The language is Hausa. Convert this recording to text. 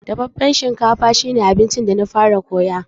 Dafaffen shinkafa shi ne abincin da na fara koya.